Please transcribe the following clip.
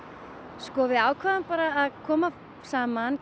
sko við ákváðum bara að koma saman